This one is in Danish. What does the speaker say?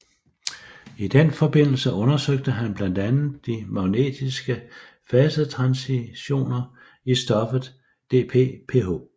I den forbindelse undersøgte han blandt andet de magnetiske fasetransitioner i stoffet DPPH